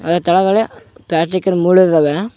ಆ ತೆಳಗಡೆ ಪ್ಲಾಸ್ಟಿಕ್ಕಿನ್ ಮೂಳು ಇದಾವೆ.